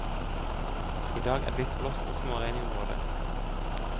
I dag er det litt blåst og småregn i området.